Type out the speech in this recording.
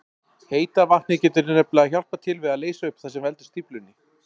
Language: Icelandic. Heita vatnið getur nefnilega hjálpað til við að leysa upp það sem veldur stíflunni.